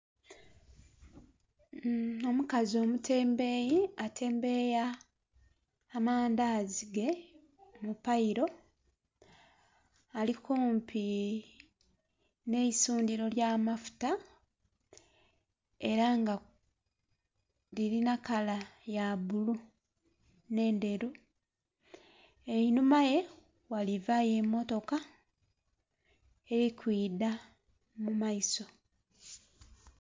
Omukazi omutembeyi atembeya amandazi ge mupairo ali kumpi n'eisundiro erya amafuta era nga lirina kala ya bbulu n'endheru einhuma ghe ghalivayo emmotoka eri ku idha mumaiso.